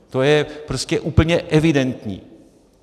To je prostě úplně evidentní.